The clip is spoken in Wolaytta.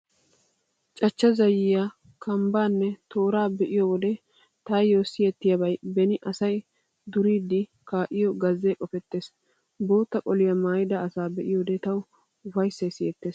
Cachchaa zayyiyaa , kambbaanne tooraa be'iyo wode taayyo siyettiyaabay beni asay duriiddi kaa'iyo gazzee qopettees. Bootta qoliyaa maayida asaa be'iyoode tawu ufayssay siyettees.